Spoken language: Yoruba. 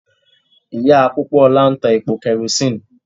Ìyá Pópóọlá ń ta epo kẹrosíìnì.